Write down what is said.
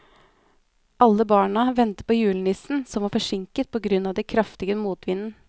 Alle barna ventet på julenissen, som var forsinket på grunn av den kraftige motvinden.